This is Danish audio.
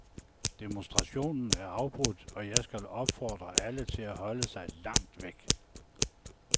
Demonstrationen er afbrudt, og jeg skal opfordre alle til at holde sig langt væk.